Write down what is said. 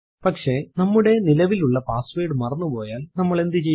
പക്ഷെ നമ്മുടെ നിലവിലുള്ള പാസ്സ്വേർഡ് മറന്നുപോയാൽ നമ്മൾ എന്ത് ചെയ്യും